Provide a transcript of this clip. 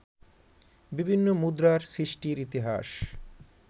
বিভিন্ন মুদ্রার সৃষ্টির ইতিহাস